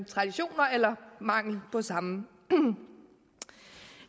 traditioner eller mangel på samme